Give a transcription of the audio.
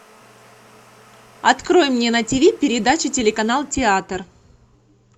открой мне на тв передачу телеканал театр